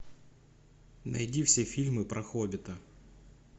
найди все фильмы про хоббита